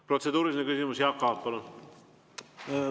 Protseduuriline küsimus, Jaak Aab, palun!